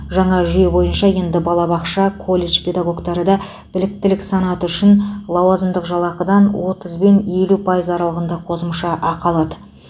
жаңа жүйе бойынша енді балабақша колледж педагогтары да біліктілік санаты үшін лауазымдық жалақыдан отыз бен елу пайыз аралығында қосымша ақы алады